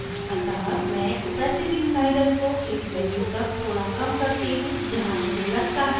अतः मैं opacity slider को एक value तक थोड़ा कम करती हूँ जहाँ मुझे लगता है यह अच्छा लग रहा है